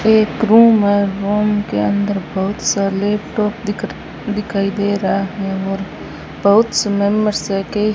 एक रूम है रूम के अंदर बहुत सा लैपटॉप दिख दिखाई दे रहा है और बहुत के --